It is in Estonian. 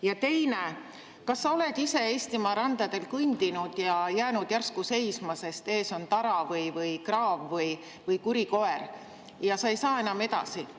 Ja teine: kas sa oled ise Eestimaa randadel kõndinud ja jäänud järsku seisma, sest ees on tara või kraav või kuri koer ja sa ei saa enam edasi?